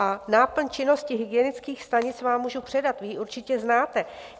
A náplň činnosti hygienických stanic vám můžu předat, vy ji určitě znáte.